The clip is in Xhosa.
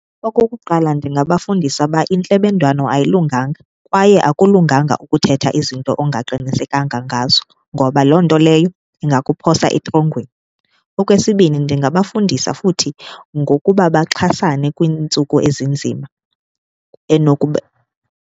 Okokuqala, ndingabafundisa uba intlebendwane ayilunganga kwaye akulunganga ukuthetha izinto ongaqinisekanga ngazo ngoba loo nto leyo ingakuphosa etrongweni. Okwesibini, ndingabafundisa futhi ngokuba baxhasane kwiintsuku ezinzima .